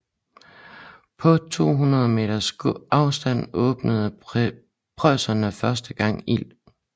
På 200 meters afstand åbnede preusserne første gang ild